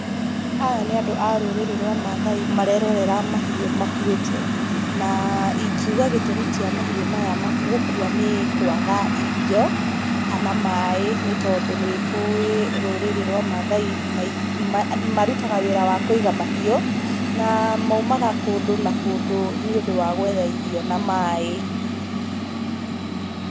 Aya nĩ andũ a rũrĩrĩ rwa Mathai marerorera mahiũ makuĩte. Na ingiuga gĩtũmi kĩa mahiũ maya gũkua nĩ kwaga irio kana maaĩ, nĩ tondĩ nĩ tũwĩ rũrĩrĩ rwa Mathai marutaga wĩra wa kũiga mahiũ, na maumaga kũndũ na kũndũ nĩ ũndũ wa gwetha irio na maaĩ.